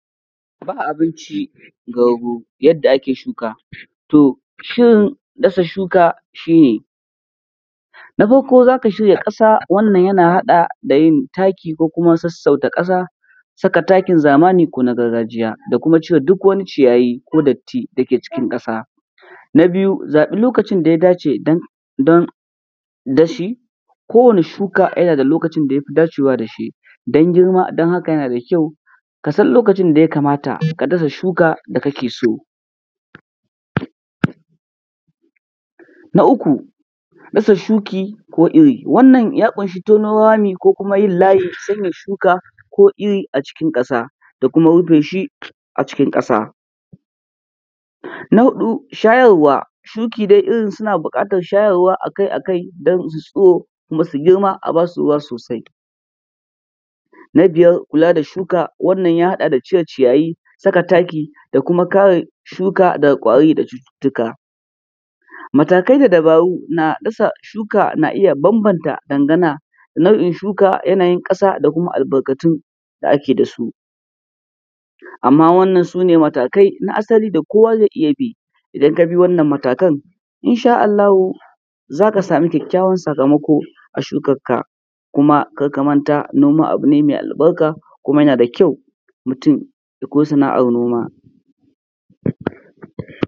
Ba abinci ga rago, yadda ake shuka. To shin dasa shuka shi ne; Na farko za ka shirya ƙasa, wannan yana haɗa da yin taki ko kuma sassauta ƙasa, saka takin zamani ko na gargajiya, da kuma cire duk wani ciyayi ko datti dake cikin ƙasa. Na biyu, zaɓi lokacin da ya dace dan, don dashi, ko wane shuka yana da lokacin da yafi dacewa dashi don girma, don haka yana da kyau ka san lokacin da ya kamata ka dasa shuka da kake so. Na uku, dasa shuki ko iri, wannan ua ƙunshi tono rami ko kuma yin layi don saka iri acikin ƙasa da kuma rufe shi acikin ƙasa. Na huɗu, shayarwa; shuki dai irinsu suna buƙatar shayarwa akai-akai don su yi tsiro kuma su yi girma a basu ruwa sosai. Na biyar kula da shuka wannan ya haɗa da cire ciyayi, saka taki da kuma kare shuka daga ƙwari da cututtuka. Matakai da dabaru na dasa shuka na iya bambanta dangana, nau’in shuka, yanayin ƙasa da kuma albarkatun da ake da su. Amma wannan su ne matakai na asali da kowa zai iya bi, idan ka bi wannan matakan insha Allahu za ka samu kyakkyawan sakamako a shukakka. Kuma kar ka manta noma abu ne mai albarka kuma yana da kyau mutum ya koyi sana’ar noma.